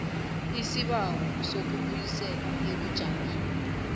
isibawo sokubuyiselwa ebujameni